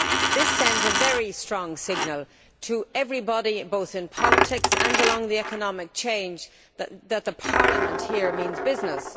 This sends a very strong signal to everybody, both in politics and along the economic chain, that the Parliament here means business.